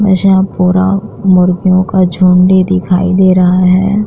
वैसे यहां पूरा मुर्गियों का झुंड ही दिखाई दे रहा है।